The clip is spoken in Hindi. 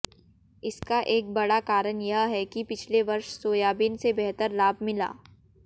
इसका एक बड़ा कारण यह है कि पिछले वर्ष सोयाबीन से बेहतर लाभ मिला